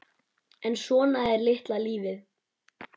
En svona er litla lífið.